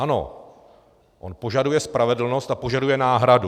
Ano, on požaduje spravedlnost a požaduje náhradu.